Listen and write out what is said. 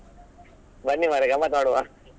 ಬನ್ನಿ ಮರ್ರೆ ಗಮ್ಮತು ಮಾಡುವ